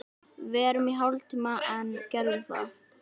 Verum í hálftíma enn, gerðu það.